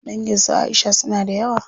Dangin su Aisha suna da yawa.